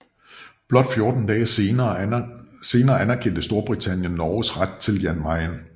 Blot 14 dage senere anerkendte Storbritannien Norges ret til Jan Mayen